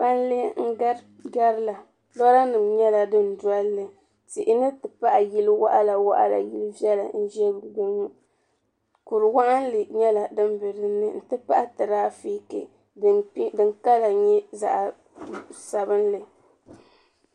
Palli n garila loori nima nyɛla din tihi tipahi yili woɣala yili viɛla n ʒia ŋɔ kuri waɣinli nyɛla din biɛni n ti pahi tirafiki din kala nyɛ zaɣa sabinli.